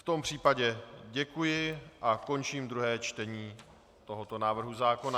V tom případě děkuji a končím druhé čtení tohoto návrhu zákona.